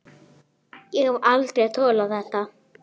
Ég hef aldrei þolað þetta